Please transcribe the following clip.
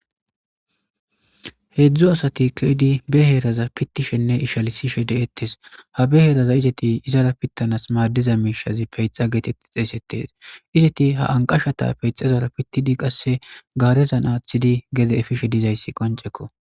Heedzdzu asati keedi be heeraza pittishenne ishalisishe de7ettes ha be heeraza izeti izara pittanas maaddiza miishazi peyxa geetetti xeesettes izeti ha anqashshata peyxezara pittidi qasse gaarezan aaththidi gede efishe dizayssi qoncekko